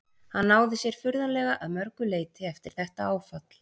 Hann náði sér furðanlega að mörgu leyti eftir þetta áfall.